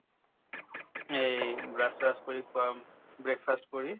এই brush চ্ৰাচ কৰি breakfast কৰি